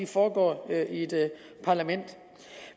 foregår i et parlament